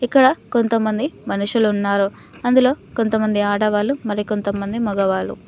ఇక్కడ కొంతమంది మనుషులు ఉన్నారు. అందులో కొంతమంది ఆడవాళ్లు మరి కొంతమంది మగవాళ్ళు.